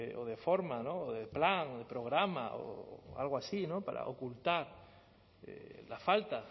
o de forma o de plan o programa o algo así no para ocultar la falta